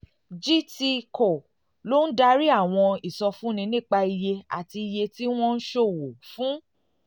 cs] gtco ló ń darí àwọn ìsọfúnni nípa iye àti iye tí wọ́n ń ṣòwò fún